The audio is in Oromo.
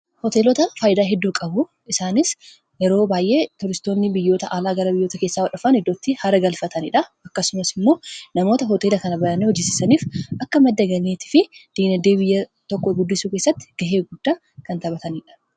hooteelota faayidaa hedduu qabu isaanis yeroo baay'ee tuuristootni biyyoota aalaa gara biyyoota keessaa dhufan iddootti hara galfataniidha akkasumas immoo namoota hooteela kan banani hojisisaniif akka maddagaliiti fi diinagdeebiyya tokko guddisuu keessatti ga'ee guddaa kan taphataniidha